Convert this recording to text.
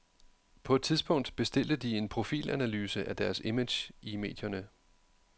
På et tidspunkt bestilte de en profilanalyse af deres image i medierne.